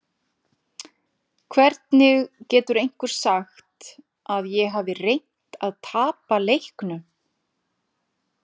Hvernig getur einhver sagt að ég hafi reynt að tapa leiknum?